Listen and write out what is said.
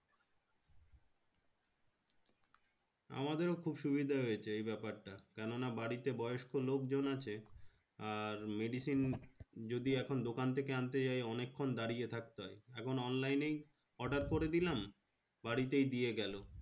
আমাদেরও খুব সুবিধা হয়েছে এই ব্যাপারটা। কেন না? বাড়িতে বয়স্ক লোকজন আছে। আর medicine যদি এখন দোকান থেকে আনতে যাই অনেকক্ষণ দাঁড়িয়ে থাকতে হয়। এখন online এই order করে দিলাম। বাড়িতেই দিয়ে গেলো।